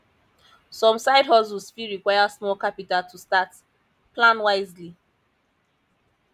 some sidehustles fit require small capital to start plan wisely